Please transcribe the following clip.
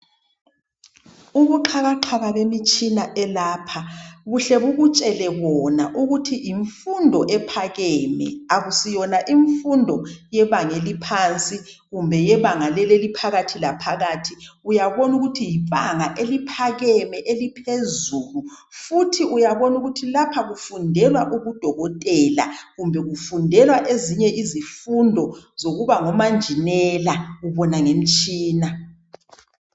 Ubuxhakaxhaka bemitshina elapha, buhle bukutshele bona ukuthi yimfundo ephakeme. Akusiyona imfundo yebanga eliphansi kumbe yebanga leli eliphakathi laphakathi. Uyabona ukuthi libanga eliphakeme, eliphezulu! Futhi uyabona ukuthi lapha kufundelwa ubudokotela, kumbe kufundelwa ezinye izifundo zokuba ngomanjinela. Ubona ngemitshina.